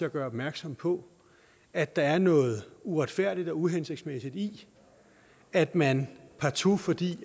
at gøre opmærksom på at der er noget uretfærdigt og uhensigtsmæssigt i at man partout fordi